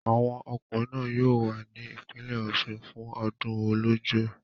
Àwọn ọkùnrin náà yóò wà ní ìpínlẹ̀ Ọ̀ṣun fún ọdún Ọlọ́jọ́.